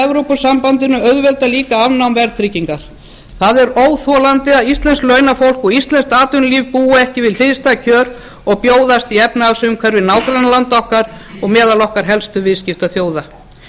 evrópusambandinu auðveldar líka afnám verðtryggingar það er óþolandi að íslenskt launafólk og íslenskt atvinnulíf búi degi við hliðstæð kjör og bjóðast í efnahagsumhverfi nágrannalanda okkar og meðal okkar helstu viðskiptaþjóða